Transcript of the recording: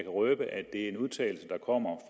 røbe at det er en udtalelse der kommer